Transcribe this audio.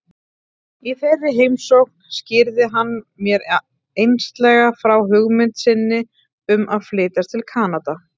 Í þeirri heimsókn skýrði hann mér einslega frá hugmynd sinni um að flytjast til Kanada.